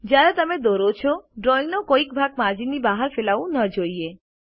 જ્યારે તમે દોરો છો ડ્રોઇંગનો કોઈ ભાગ માર્જિનની બહાર ફેલાવું ન જોઈએ